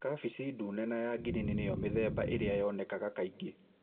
Kabeci ndune na ya ngirini nĩyomĩthemba ĩrĩa yonekanaga kaingĩ.